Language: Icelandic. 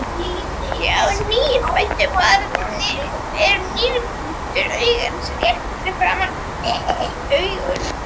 Hjá nýfæddu barni er nærpunktur augans rétt framan við augun.